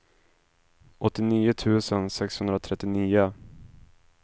åttionio tusen sexhundratrettionio